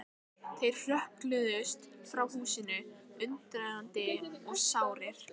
Þórbergur hefur fengið inni hjá Runólfi Guðmundssyni að